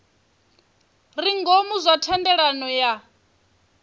re ngomu zwa thendelano ya